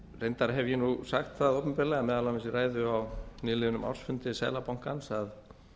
reyndar hef ég sagt það opinberlega meðal annars í ræðu á nýliðnum ársfundi seðlabankans að